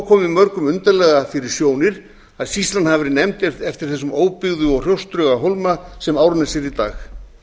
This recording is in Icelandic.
komið mörgum undarlega fyrir sjónir að sýslan hafi verið nefnd eftir þessum óbyggða og hrjóstruga hólma sem árnes er í dag